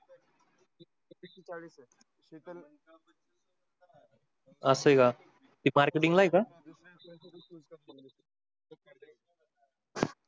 असे का